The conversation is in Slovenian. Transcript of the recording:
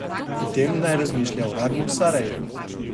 O tem naj razmišlja uradno Sarajevo.